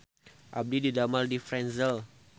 Abdi didamel di Franzel